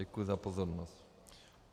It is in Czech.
Děkuji za pozornost.